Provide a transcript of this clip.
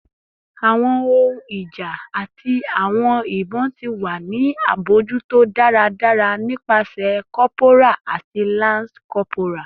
Awọn ohun ija ati awọn ibon ti wa ni abojuto daradara nipasẹ corporal ati lance corporal